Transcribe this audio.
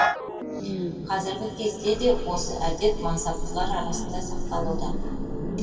қазіргі кезде де осы әдет мансаптылар арасында сақталуда